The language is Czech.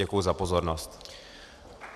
Děkuji za pozornost.